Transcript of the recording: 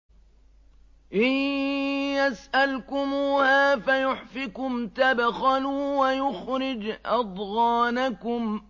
إِن يَسْأَلْكُمُوهَا فَيُحْفِكُمْ تَبْخَلُوا وَيُخْرِجْ أَضْغَانَكُمْ